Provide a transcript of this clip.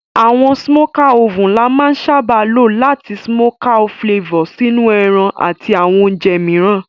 Àwon smoker oven la má n sábá lo làti smoky flavor sínú ẹran àti àwon ounje mìíràn